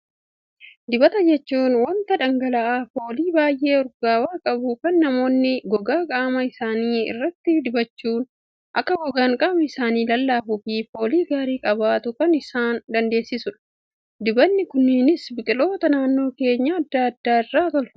Dibata jechuun, waanta dhangala'aa foolii baayyee urgaawaa qabu, kan namoonni gogaa qaama isaanii irratti dibachuun akka gogaan qaama isaanii lallaafuu fi foolii gaarii qabaatu kan isaan dandeessisudha. Dibatni kunneenis biqiloota naannoo keenyaa addaa addaa irraa tolfamu.